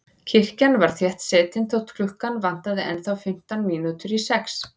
Kirkjan var þéttsetin þótt klukkuna vantaði ennþá fimmtán mínútur í sex.